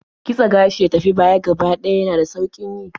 Kitse gashi ya tafi baya gaba ɗaya yana da sauƙin yi.